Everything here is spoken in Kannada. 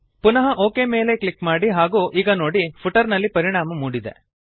ಪುನಃ ಒಕ್ ಕ್ಲಿಕ್ ಮಾಡಿ ಹಾಗೂ ಈಗ ನೋಡಿ ಫುಟರ್ ನಲ್ಲಿ ಪರಿಣಾಮ ಮೂಡಿದೆ